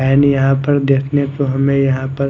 and यहां पर देखने को हमें यहां पर--